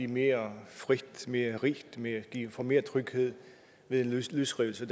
mere frit mere rigt få mere tryghed ved at løsrive sig